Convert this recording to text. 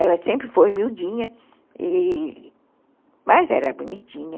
Ela sempre foi miudinha, e, mas era bonitinha.